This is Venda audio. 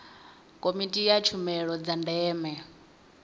komiti ya tshumelo dza ndeme